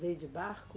Veio de barco?